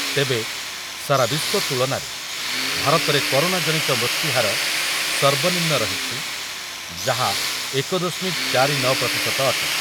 ତେବେ ସାରାବିଶ୍ୱ ତୁଳନାରେ ଭାରତରେ କରୋନାଜନିତ ମୃତ୍ୟୁହାର ସର୍ବନିମ୍ନ ରହିଛି ଯାହା ଏକ ଦଶମିକ ଚାରି ନ ପ୍ରତିଶତ ଅଟେ।